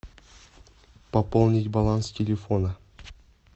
пополнить баланс телефона